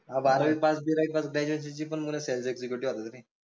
बारावी pass बीरावी pass graduation ची sales executive